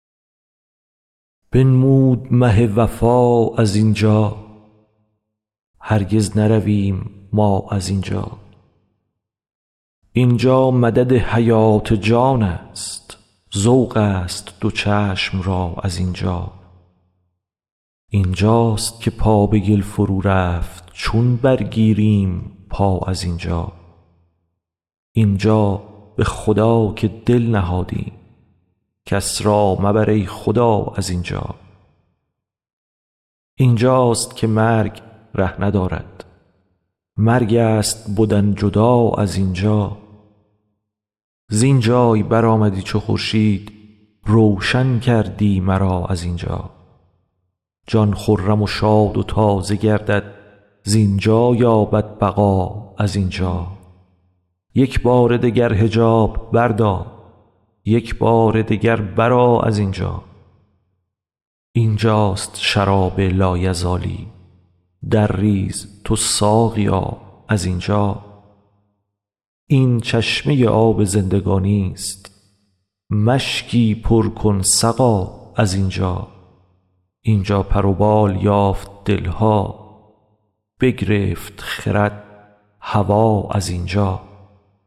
بنمود مه وفا از این جا هرگز نرویم ما از این جا این جا مدد حیات جانست ذوقست دو چشم را از این جا این جاست که پا به گل فرورفت چون برگیریم پا از این جا این جا به خدا که دل نهادیم کس را مبر ای خدا از این جا این جاست که مرگ ره ندارد مرگست بدن جدا از این جا زین جای برآمدی چو خورشید روشن کردی مرا از این جا جان خرم و شاد و تازه گردد زین جا یابد بقا از این جا یک بار دگر حجاب بردار یک بار دگر برآ از این جا این جاست شراب لایزالی درریز تو ساقیا از این جا این چشمه آب زندگانیست مشکی پر کن سقا از این جا این جا پر و بال یافت دل ها بگرفت خرد هوا از این جا